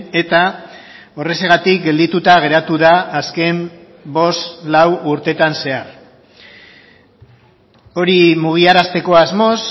eta horrexegatik geldituta geratu da azken bost lau urteetan zehar hori mugiarazteko asmoz